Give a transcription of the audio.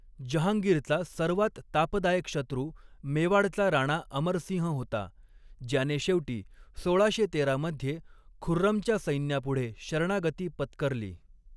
जहाँगीरचा सर्वात तापदायक शत्रू मेवाडचा राणा अमरसिंह होता, ज्याने शेवटी सोळाशे तेरा मध्ये खुर्रमच्या सैन्यापुढे शरणागती पत्करली.